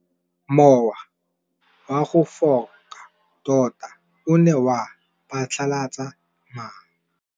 Mowa o wa go foka tota o ne wa phatlalatsa maru.